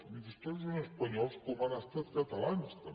miri els toros són espanyols com han estat catalans també